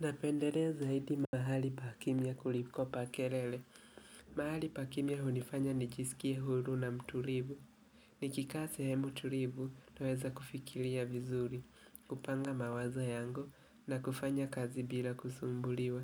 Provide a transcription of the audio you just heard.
Napenderea zaidi mahali pa kimya kuliko pa kelele. Mahali pa kimya hunifanya nijiskie huru na mtulivu. Nikikaa sehemu tulivu, naweza kufikilia vizuri, kupanga mawazo yangu na kufanya kazi bila kusumbuliwa.